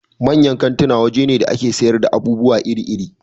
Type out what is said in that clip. Manyan kantuna waje ne da a ke sayar da abubuwa iri iri